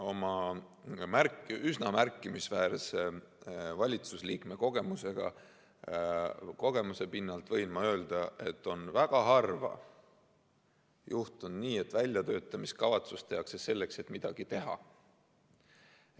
Oma üsna märkimisväärse valitsusliikme kogemuse pinnalt võin ma öelda, et on väga harva juhtunud nii, et väljatöötamiskavatsus tehakse selleks, et midagi teha.